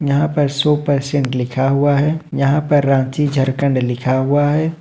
यहां पर सौ परसेंट लिखा हुआ है यहां पर रांची झारखंड लिखा हुआ है।